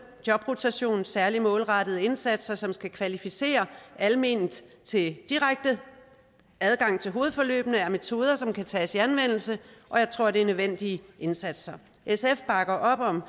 jobrotation og særligt målrettede indsatser som skal kvalificere alment til direkte adgang til hovedforløbene er metoder som kan tages i anvendelse og jeg tror det er nødvendige indsatser sf bakker op om